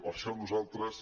per això nosaltres